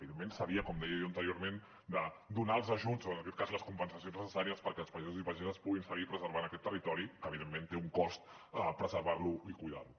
evidentment com deia jo anteriorment s’havia de donar els ajuts o en aquest cas les compensacions necessàries perquè els pagesos i pageses puguin seguir preservant aquest territori que evidentment té un cost preservar lo i cuidar lo